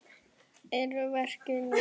Eru verkin ný?